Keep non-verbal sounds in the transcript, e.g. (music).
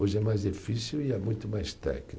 Hoje é mais difícil e é muito mais (unintelligible)